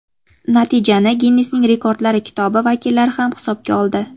Natijani Ginnesning rekordlari kitobi vakillari ham hisobga oldi.